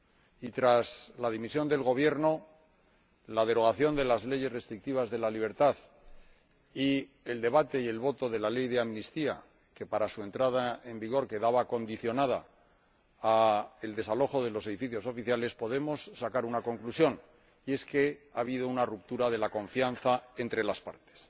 Y tras la dimisión del Gobierno, la derogación de las leyes restrictivas de la libertad y el debate y la aprobación de la ley de amnistía, cuya entrada en vigor quedaba condicionada al desalojo de los edificios oficiales, podemos sacar una conclusión y es que ha habido una ruptura de la confianza entre las partes.